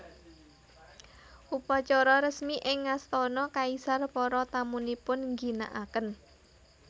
Upacara resmi ing astana kaisar para tamunipun ngginakaken